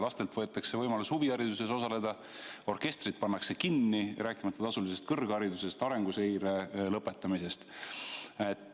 Lastelt võetakse võimalus huvihariduses osaleda, orkestrid pannakse kinni, rääkimata kõrghariduse tasuliseks muutmisest, arenguseire lõpetamisest.